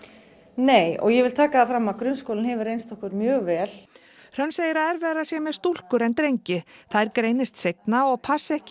nei og ég vil taka það fram að grunnskólinn hefur reynst okkur mjög vel hrönn segir að erfiðara sé með stúlkur en drengi þær greinist seinna og passi ekki